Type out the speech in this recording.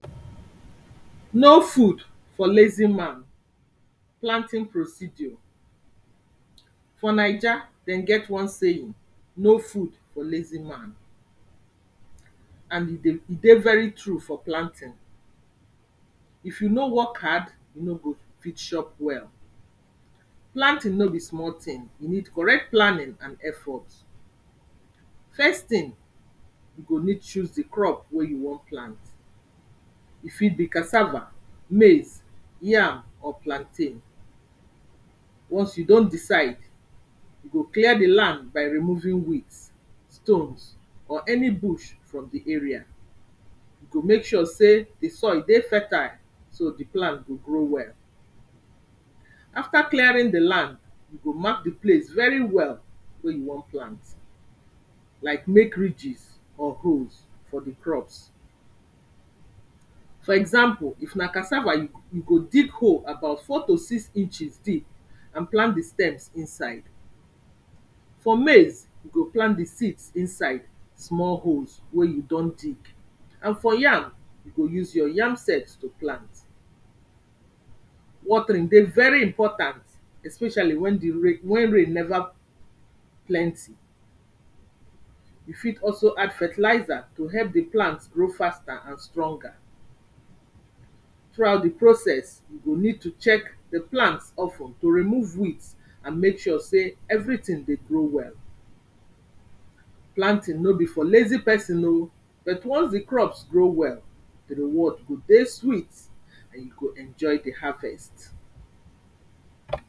No food for lazy man. Planting procedure. For naija, dem get one saying, no food for lazy man and e dey dey very true for planting. If you no work hard, you no go fit chop well. Planting no be small thing, e need correct planning and effort. First thing, you go need choose de crop wey you wan plant, e fit be cassava, maize, yam or plantain. Once you don decide, you go clear de land by removing weeds, stones or any bush from de area, you go make sure sey de soil dey fertile so de plant go grow well. After clearing de land, you go mark de place very well wey u wan plant, like make ridges or holes for de crops. For example, if na cassava, you go dig hole about four to six inches deep and plant de stems inside. For maize, you go plant de seeds inside small holes wey you don dig and for yam, you go use your yam sets to plant. Watering dey very important, especially when de rain when rain neva plenty, you fit also add fertilizer to help de plant grow faster and stronger. Throughout de process, you go need to check de plant of ten to remove weeds and make sure sey everything dey grow well. planting no be for lazy person oo but once de crops grow well, de reward go dey sweet and you go enjoy de harvest.